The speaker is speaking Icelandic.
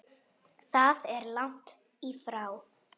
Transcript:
Það er langt í frá.